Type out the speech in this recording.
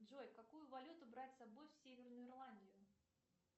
джой какую валюту брать с собой в северную ирландию